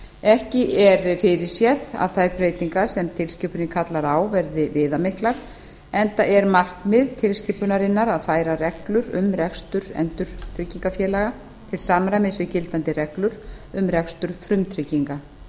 ekki er fyrirséð að þær breytingar sem tilskipunin kallar á verði viðamiklar enda er markmið tilskipunarinnar að færa reglur um rekstur endurtryggingafélaga til samræmis við gildandi reglur um rekstur frumtrygginga